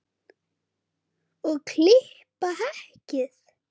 Og klippa hekkið?